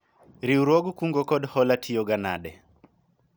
riwruog kungo kod hola tiyo ga nade?